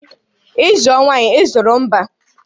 Ị zụọ nwaanyị, ị azụrụ mba